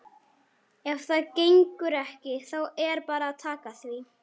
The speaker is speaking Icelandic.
Ef það gengur ekki þá er bara að taka því.